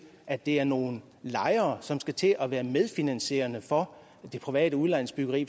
at det er nogle lejere som skal til at være medfinansierende for det private udlejningsbyggeri